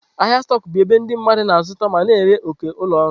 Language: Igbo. Ahịa stoku bụ ebe ndị mmadụ na-azụta ma na-ere òkè nke ụlọ ọrụ.